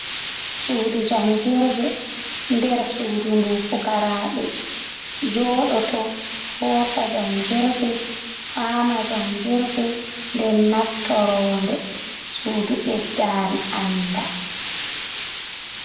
Sudu jangirde, nder sudu ndu pukaraɓe joɗo to hosa jangirde, fama jangirde, den naftorode sudu beddari sandal.